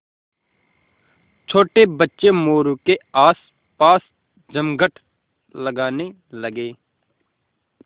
छोटे बच्चे मोरू के आसपास जमघट लगाने लगे